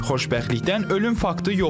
Xoşbəxtlikdən ölüm faktı yoxdur.